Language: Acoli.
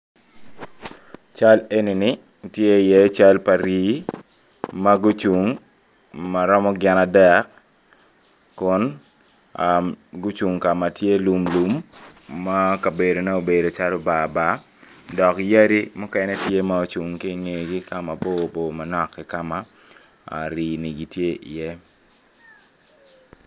Cal enini tye iye cal pa Rii ma gucung ma romo gin adek kun gucung ka ma tye lumlum ma kabedone obedo calo bar bar dok yadi mukene ocung ki ingegi ka mabor bor manok ki ka ma Rii ni gitye iye.